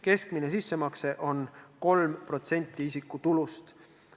Keskmine sissemakse on 3% isiku tulust.